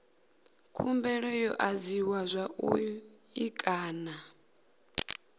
khumbelo yo adziwa zwavhui kana